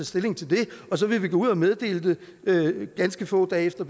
stilling til det og så vil vi gå ud og meddele det ganske få dage efter